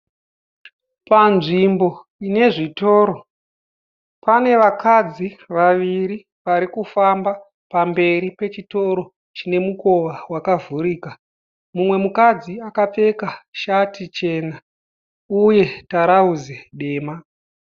Panzvimbo ine zvitoro pane vakadzi vaviri varikufamba pamberi Pechitoro chine mukowa wakavhurika. mumwe mukadzi akapfeka shati chena uye tarauzi dema.